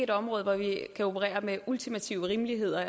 det område hvor vi kan operere med ultimative rimeligheder og